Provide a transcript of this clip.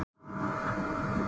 Það snýst ekkert um það.